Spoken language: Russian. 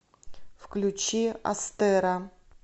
включи астеро